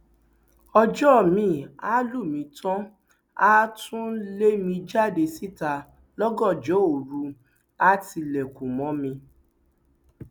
ọjọ miín àá lù mí tán àá tún lé mi jáde síta lọgànjọ òru àá tilẹkùn mọ mi